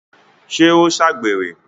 ṣé ó ṣàgbèrè?